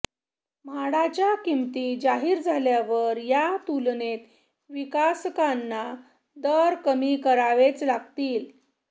म्हाडाच्या किमती जाहीर झाल्यावर या तुलनेत विकासकांना दर कमी करावेच लागतील